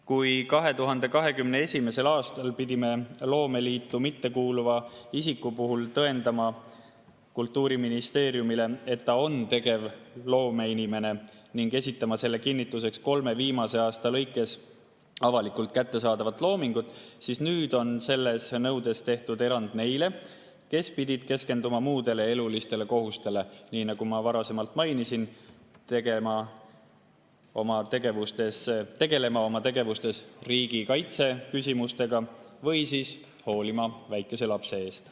Kui 2021. aastal pidime loomeliitu mittekuuluva isiku puhul tõendama Kultuuriministeeriumile, et ta on tegevloomeinimene, ning esitama selle kinnituseks kolme viimase aasta avalikult kättesaadavat loomingut, siis nüüd on selle nõude puhul tehtud erandid neile, kes pidid keskenduma muudele elulistele kohustustele, nagu ma varasemalt mainisin, tegelema riigikaitseküsimustega või hoolitsema väikese lapse eest.